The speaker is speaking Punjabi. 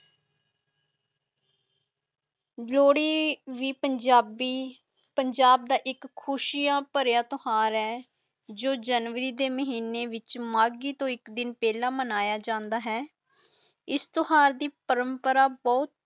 ਜਲੋਹੜੀ ਭੀ ਪੰਜਾਬੀ ਪੰਜਾਬ ਦਾ ਇੱਕ ਖੁਸ਼ੀਆਂ ਪਰੇਯਾ ਤਿਓਹਾਰ ਹੈ ਜੇਦਾ ਜਨਵਰੀ ਦੇ ਮਹੀਨੇ ਛ ਮੈਗੀ ਤੇ ਇੱਕ ਦਿਨ ਪੀਲਾ ਮਨਾਇਆ ਜਾਂਦਾ ਹੈ